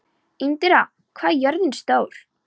Indíra, hvað er jörðin stór?